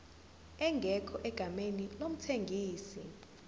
ingekho egameni lomthengisi